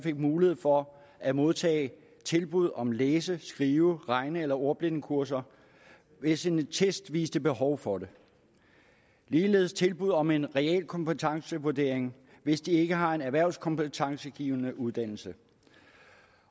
mulighed for at modtage tilbud om læse skrive regne eller ordblindekurser hvis en test viser behov for det ligeledes tilbud om en realkompetencevurdering hvis de ikke har en erhvervskompetencegivende uddannelse